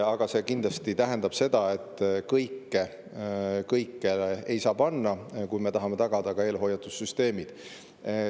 et kõike ei saa üles panna, kui me tahame tagada ka eelhoiatussüsteemid.